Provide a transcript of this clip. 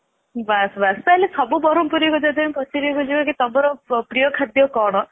ବାସ ବାସ ତାହାଲେ ସବୁ ବରମପୁରିଆ ଙ୍କୁ ଯଦି ଆମେ ପଚାରି ବୁଝିବା କି ତମର ପ୍ରିୟ ଖାଦ୍ଯ କଣ